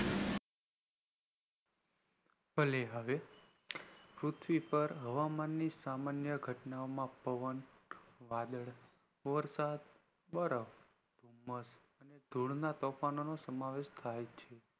ભલે હવે પૃથ્વી પર હવામાન ની સામાન્ય ઘટના માં પવન વાદળ વરસાદ બરફ ઘૂમ્મસ ધૂળના તોફાનો નો સમાવેશ થાય છે